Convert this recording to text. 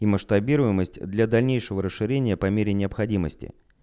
и масштабируемость для дальнейшего расширения по мере необходимости